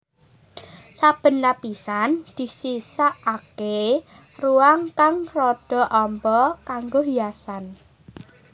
Saben lapisan disisakaké ruang kang rada amba kanggo hiasan